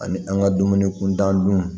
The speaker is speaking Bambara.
Ani an ka dumuni kuntan dun